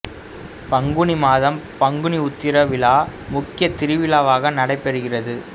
பங்குனி மாதம் பங்குனி உத்திரம் விழா முக்கிய திருவிழாவாக நடைபெறுகிறது